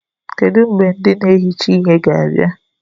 Kedụ mgbe ndị na-ehicha ihe ga-abịa?